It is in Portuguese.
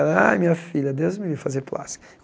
Ai, minha filha, Deus me livre fazer plástica.